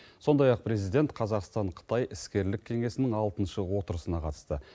сондай ақ президент қазақстан қытай іскерлік кеңесінің алтыншы отырысына қатысты